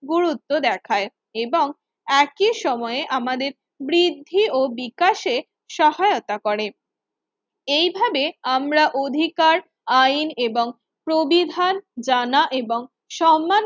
গুরুত্ব দেখায় এবং একই সময়ে আমাদের বৃদ্ধি ও বিকাশে সহায়তা করে। এই ভাবে আমরা অধিকার আইন এবং প্রবিধান জানা এবং সন্মান